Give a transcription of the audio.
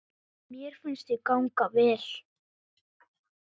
Mér finnst þau ganga vel.